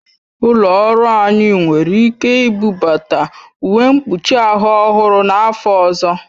Ụlọ ọrụ anyị nwere ike ibubata uwe mkpuchi ahụ ọhụrụ n'afọ ọzọ